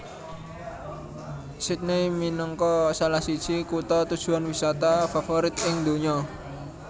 Sydney minangka salah siji kutha tujuan wisata favorit ing donya